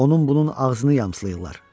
Onun bunun ağzını yamsılayırlar.